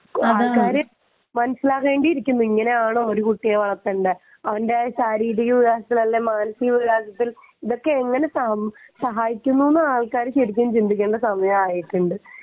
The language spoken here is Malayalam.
ആൾക്കാർ മനസ്സിലാക്കേണ്ടിയിരിക്കുന്നു ഇങ്ങനെയാണോ കുട്ടികളെ വളർത്തേണ്ടത് എന്ന് അവന്റെ ശാരീരിക വികാസത്തിൽ അല്ലെങ്കിൽ വികാസത്തിൽ ഇതൊക്കെ എങ്ങനെ സഹായിക്കുന്നു എന്ന് സമയം ആയിട്ടുണ്ട്